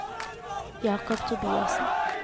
Jacob Tobiassen